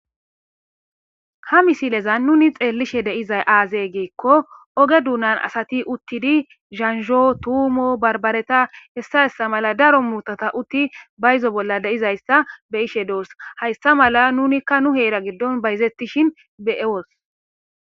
ha misilezan nuni xeellishe deizay aazey geekko oge duunan asati uttidi zansho tuumo barbareta hessa hessa mala daro muutata utti bayzo bolla deizayssa be ishe doors hayssa mala nunikka nu heera giddon bayzettishin be7ewos